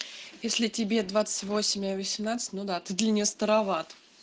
если тебе двадцать восемь а ей восемнадцать ну да ты для неё староват